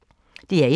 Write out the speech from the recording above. DR1